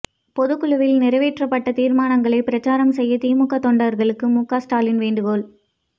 பொதுக்குழுவில் நிறைவேற்றப்பட்ட தீர்மானங்களை பிரச்சாரம் செய்ய திமுக தொண்டர்களுக்கு முக ஸ்டாலின் வேண்டுகோள்